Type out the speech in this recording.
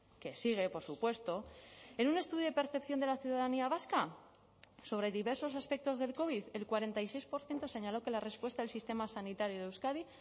que sigue por supuesto en un estudio de percepción de la ciudadanía vasca sobre diversos aspectos del covid el cuarenta y seis por ciento señaló que la respuesta del sistema sanitario de euskadi